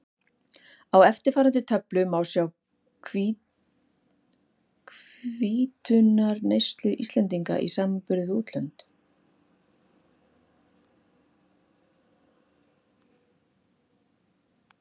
Á eftirfarandi töflu má sjá hvítuneyslu Íslendinga í samanburði við nokkur útlönd.